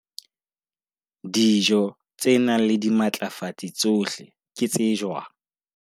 Dijo tse nang le dimatlafatsi tsohle ke tse jwang?